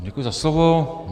Děkuji za slovo.